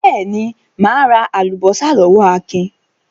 Beeni, ma ra alubosa lowo Akin